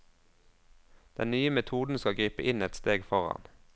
Den nye metoden skal gripe inn ett steg foran.